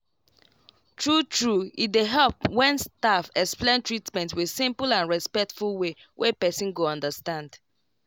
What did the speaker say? true true e dey help when staff explain treatment with simple and respectful way wey person go understand.